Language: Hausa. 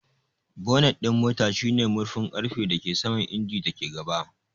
Bonnet ɗin mota shine murfin ƙarfe da ke saman injin da ke gaba.